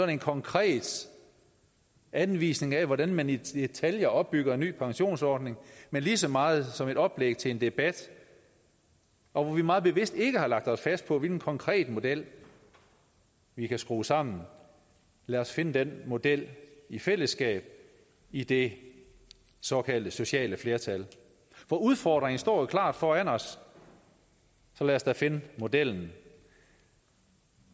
en konkret anvisning af hvordan man i detaljer opbygger en ny pensionsordning men lige så meget som et oplæg til en debat hvor vi meget bevidst ikke har lagt os fast på hvilken konkret model vi kan skrue sammen lad os finde den model i fællesskab i det såkaldte sociale flertal for udfordringen står jo klar foran os så lad os da finde modellen